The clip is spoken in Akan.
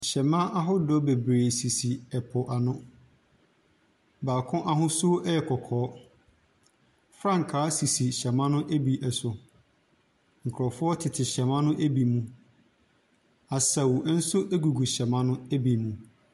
Hyɛmma ahodoɔ bebree sisi po ano, baako ahosu yɛ kɔkɔɔ, frankaa sisi hyɛmma ne bi so, nkurɔfoɔ tete hyɛmma ne bi mu. Asaw nso gugu hyɛmma no bi mu.